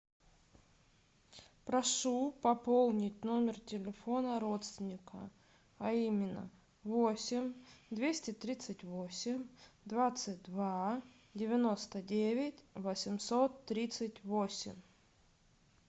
прошу пополнить номер телефона родственника а именно восемь двести тридцать восемь двадцать два девяносто девять восемьсот тридцать восемь